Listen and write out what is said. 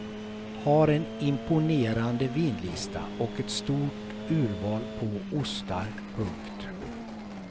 Har en imponerande vinlista och ett stort urval på ostar. punkt